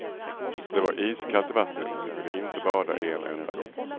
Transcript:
Det var iskallt i vattnet, vi kunde inte bada en enda gång.